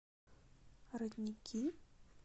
родники